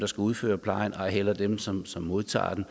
skal udføre plejen eller dem som som modtager den